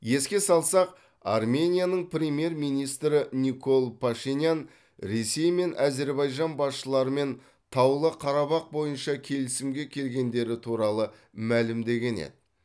еске салсақ арменияның премьер министрі никол пашинян ресей мен әзірбайжан басшыларымен таулы қарабақ бойынша келісімге келгендері туралы мәлімдеген еді